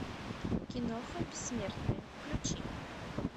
киноха бессмертные включи